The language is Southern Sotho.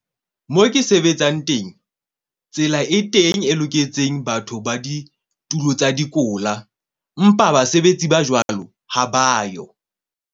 Mo ke sebetsang teng. Tsela e teng e loketseng batho ba ditulo tsa dikola, mpa basebetsi ba jwalo ha ba yo.